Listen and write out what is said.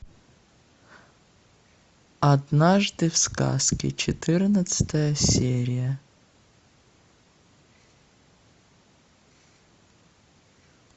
однажды в сказке четырнадцатая серия